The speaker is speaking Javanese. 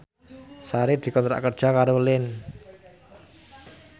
Sari dikontrak kerja karo Line